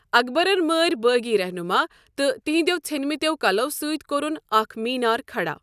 اکبرن مٲر بٲغی رہنُما تہٕ تہنٛدٮ۪و ژھنمٕتٮ۪و کلو سۭتۍ کوٚرُن اکھ مینار کھڑا۔